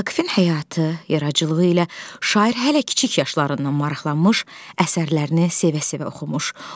Vaqifin həyatı, yaradıcılığı ilə şair hələ kiçik yaşlarından maraqlanmış, əsərlərini sevə-sevə oxumuş.